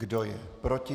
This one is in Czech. Kdo je proti?